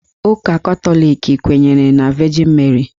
Ụka Katọlik kwenyere na Vejin Meri